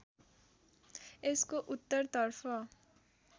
यसको उत्तरतर्फ